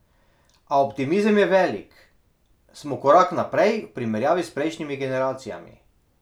A optimizem je velik: "Smo korak naprej v primerjavi s prejšnjimi generacijami.